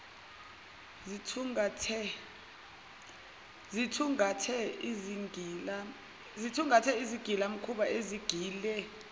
zithungathe izigilamkhuba ezigile